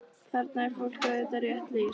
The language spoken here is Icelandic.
Þarna er fólki auðvitað rétt lýst.